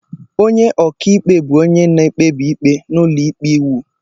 Onye ọka ikpe bụ onye na-ekpebi ikpe n'ụlọikpe iwu